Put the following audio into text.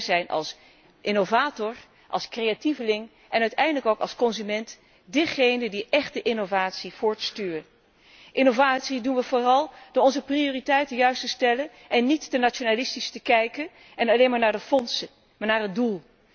Juist zíj zijn als innovator, als creatieveling en uiteindelijk ook als consument diegenen die echt de innovatie voortstuwen. Aan innovatie doen we vooral door onze prioriteiten juist te stellen en niet te nationalistisch te kijken en niet alleen maar naar de fondsen, maar naar het